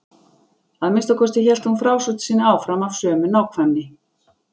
Að minnsta kosti hélt hún frásögn sinni áfram af sömu nákvæmni.